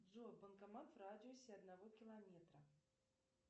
джой банкомат в радиусе одного километра